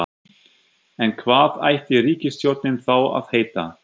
En hvað ætti ríkisstjórnin þá að heita?